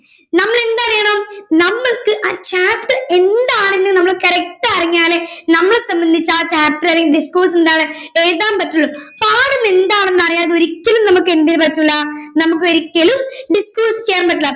നമ്മളെന്തറിയണം നമ്മൾക്ക് ആ chapter എന്താണെന്ന് നമ്മൾ correct അറിഞ്ഞാലേ നമ്മളെ സംബന്ധിച്ച് ആ chapter അല്ലെങ്കി disclose എന്താണ് എഴുതാൻ പറ്റുള്ളൂ പടം എന്താണെന്ന് അറിയാതെ ഒരിക്കലും നമ്മുക്കെന്ത് ചെയ്യാൻ പറ്റൂല്ല നമ്മുക്ക് ഒരിക്കലും disclose ചെയ്യാൻ പറ്റൂല്ല